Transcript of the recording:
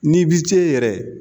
N'i bi se yɛrɛ